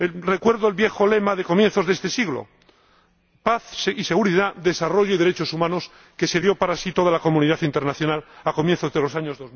Recuerdo el viejo lema de comienzos de este siglo paz y seguridad, desarrollo y derechos humanos, que se dio para sí toda la comunidad internacional a comienzos de los años